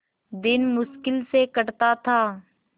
दिन मुश्किल से कटता था